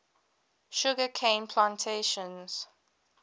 sugar cane plantations